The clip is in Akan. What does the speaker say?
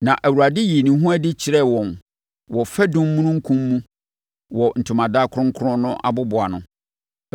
Na Awurade yii ne ho adi kyerɛɛ wɔn wɔ fadum omununkum mu wɔ ntomadan kronkron no aboboano.